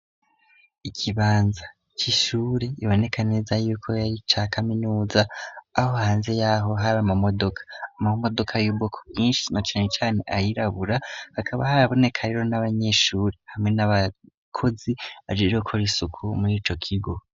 Ikibanza c'ishure biboneka neza yuko ari ica kaminuza, aho hanze yaho hari amamodoka. Amamodoka y'ubwoko bwinshi na cane cane ayirabura, hakaba harabonekayo n'abanyeshuri hamwe n'abakozi bajejwe gukora isuku muri ico kigo.